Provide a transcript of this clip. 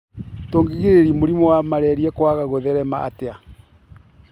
Tũgirĩria mũrimũ wa malaria kwaga gũtherema atĩa.?